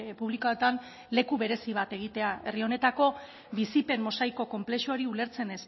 publikoetan leku berezi bat egitea herri honetako bizipen mosaiko konplexuari ulertzen